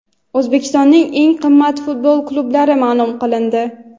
O‘zbekistonning eng qimmat futbol klublari ma’lum qilindi.